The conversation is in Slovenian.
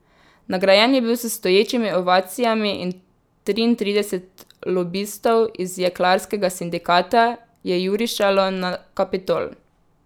Nagrajen je bil s stoječimi ovacijami in triintrideset lobistov iz jeklarskega sindikata je jurišalo na Kapitol.